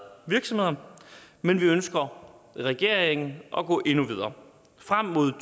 virksomheder men vi ønsker regeringen at gå endnu videre frem mod to